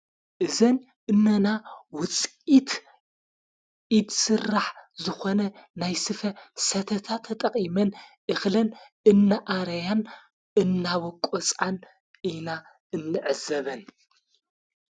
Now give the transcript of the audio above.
እዘን እነና ውጽቂት ኢድ ሥራሕ ዝኾነ ናይ ስፈ ሰተታ ተጠቒመን እኽለን እነኣረያን እናበቆፃን ኢና እንዕዘበን።